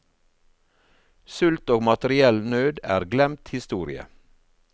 Sult og materiell nød er glemt historie.